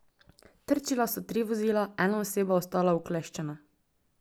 Trčila so tri vozila, ena oseba ostala ukleščena.